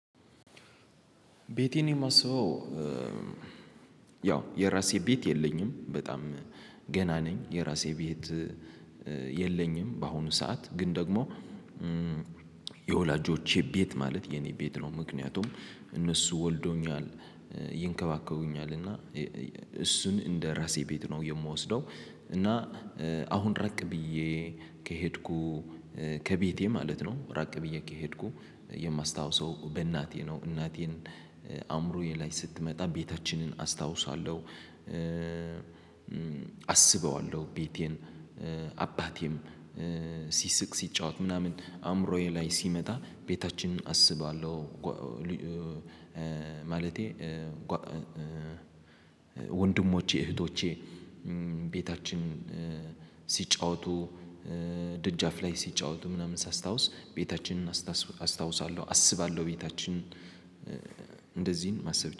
ቤቴን የማስውበው ያው የራሴ ቤት የለኝም በጣም ገና ነኝ የራሴ ቤት የለኝም በአሁኑ ሰዓት ግን ደግሞ የወላጆቼ ቤት ማለት የኔ ቤት ነው ምክንያቱም እነሱ ወልደውኛል ይንከባከቡኛል እና እሱን እንደ ራሴ ቤት ነው የምወስደው። እና አሁን ራቅ ብዬ ከሄድኩ ከቤቴ ማለት ነው ራቅ ብዬ ከሄድኩ የማስታውሰው በእናቴ ነው። እናቴን አእምሮዬ ላይ ስትመጣ ቤታችንን አስታውሳለሁ። አስበዋለሁ ቤቴን አባቴም ሲስቅ ሲጫወት ምናምን አእምሮዬ ላይ ሲመጣ ቤታችንን አስባለሁ። ማለቴ ወንድሞቼ እህቶቼ ቤታችን ሲጫወቱ ድጃፍ ላይ ሲጫወቱ ምናምን ሳስታውስ ቤታችንን አስታውሳለሁ አስባለሁ ቤታችን እንደዚህን ማሰብ